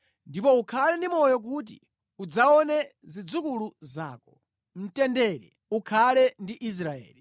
ndipo ukhale ndi moyo kuti udzaone zidzukulu zako. Mtendere ukhale ndi Israeli.